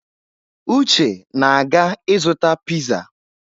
Uche na-aga ịzụta piizá.